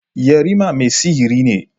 Yarima mai sihiri ne.